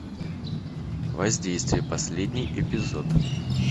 воздействие последний эпизод